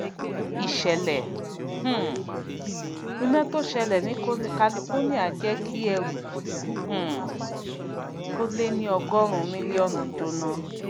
ìsèlè um iná tí ó sẹlè ní california jé kí ẹrù um tó lé ní ọgórun mílíónù jóná